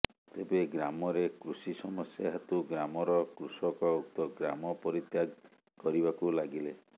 ତେବେ ଗ୍ରାମରେ କୃଷି ସମସ୍ୟା ହେତୁ ଗ୍ରାମର କୃଷକ ଉକ୍ତ ଗ୍ରାମ ପରିତ୍ୟାଗ କରିବାକୁ ଲାଗିଲେ